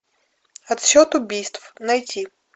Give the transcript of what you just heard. отсчет убийств найти